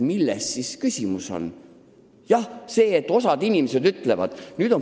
Milles siis küsimus on?